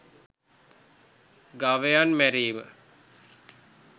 ගවයන් මැරීම